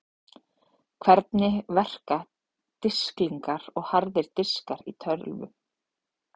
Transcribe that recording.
Hvernig verka disklingar og harðir diskar í tölvum?